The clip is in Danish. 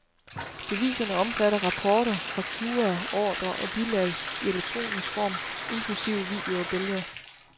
Beviserne omfatter rapporter, fakturaer, ordrer og bilag i elektronisk form, inklusive video og billeder.